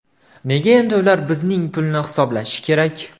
Nega endi ular bizning pulni hisoblashi kerak?